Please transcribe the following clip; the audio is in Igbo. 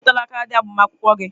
Ị bipụtala kaadị agbamakwụkwọ gị?